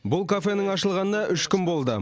бұл кафенің ашылғанына үш күн болды